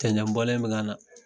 Cɛncɛn bɔlen bɛ kana.